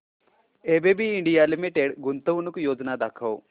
ABB India limited गुंतवणूक योजना दाखव